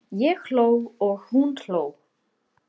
Ég hló og hún hló.